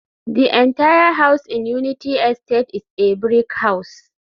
the entire house in Unity estate is a brick house